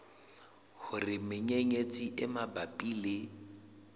hore menyenyetsi e mabapi le